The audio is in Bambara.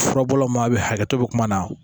Furabɔlaw ma bɛ hakɛ to kuma na